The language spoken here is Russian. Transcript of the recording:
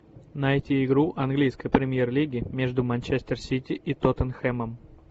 найти игру английской премьер лиги между манчестер сити и тоттенхэмом